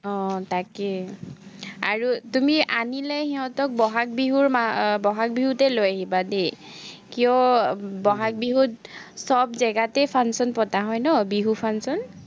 আহ তাকে। আৰু তুমি আনিলে সিহঁতক বহাগ বিহুৰ মা আহ বহাগ বিহুতেই লৈ আহিবা দেই। কিয়, বহাগ বিহুত চব জেগাতে function পতা হয় ন, বিহু function